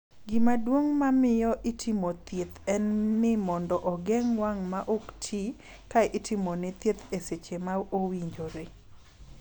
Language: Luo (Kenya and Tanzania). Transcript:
Gima duong' ma miyo itimo thieth en ni momdo ogeng' wang' ma ok ti ka itimone thieth e seche ma owinjore.